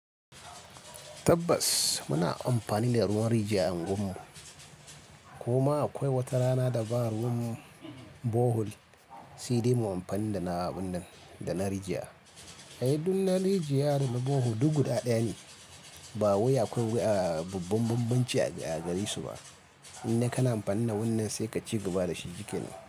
Tabbas muna amfani da ruwan rijiya a unguwarmu, kuma akwai wata rana da ba ruwan bohol sai da muyi amfani da na wannan, da na rijiya. Ai duk na rijiya da na bohol duk guda ɗaya ne, ba wuya kuwa a yi bambance a gari su ba, in dai kana amfani da wannan sai ka ci gaba da shi duka ne.